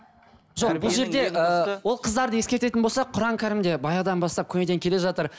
ыыы ол қыздарды ескертетін болсақ құран кәрімде баяғыдан бастап көнеден келе жатыр